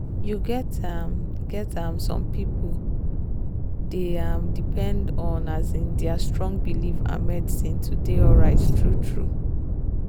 you get um get um some people dey um depend on um their strong belief and medicine to dey alright true-true